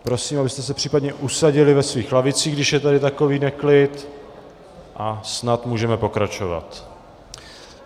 Prosím, abyste se případně usadili ve svých lavicích, když je tady takový neklid, a snad můžeme pokračovat.